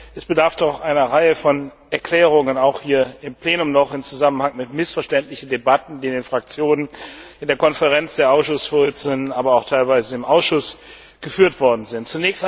Es bedarf doch einer Reihe von Erklärungen auch hier im Plenum noch im Zusammenhang mit missverständlichen Debatten, die in den Fraktionen, in der Konferenz der Ausschussvorsitzenden, aber auch teilweise im Ausschuss geführt worden sind.